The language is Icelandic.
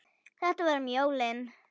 Þetta var um jólin.